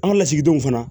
An ka lasigidenw fana